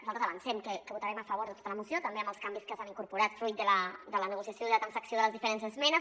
nosaltres avancem que votarem a favor de tota la moció també amb els canvis que s’han incorporat fruit de la nego·ciació i de la transacció de les diferents esmenes